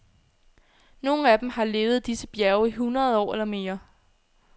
Nogle af dem har levet i disse bjerge i hundrede år eller mere.